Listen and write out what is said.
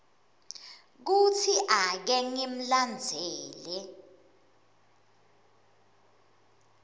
kutsi ake ngimlandzele